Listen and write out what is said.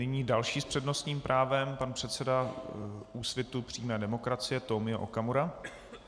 Nyní další s přednostním právem, pan předseda Úsvitu přímé demokracie Tomio Okamura.